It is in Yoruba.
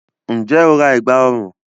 Ǹjẹ́ o ra ẹ̀gbá ọrùn?